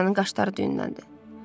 Doryanın qaşları düyünləndi.